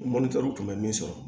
kun bɛ min sɔrɔ